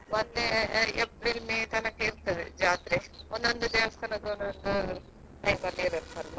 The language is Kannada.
ಹೌದು December ಅಲ್ಲಿ ಶುರು ಆದ್ರೆ April May ತನಕ ಇರ್ತದೆ ಜಾತ್ರೆ ಒಂದೊಂದು ದೇವಸ್ಥಾನದ್ದು ಒಂದೊಂದು time ಅಲ್ಲಿ ಇರ್ತದಲ್ವಾ ಒಂದಾದ ಮೇಲೆ ಒಂದು ಅದೊಂದು.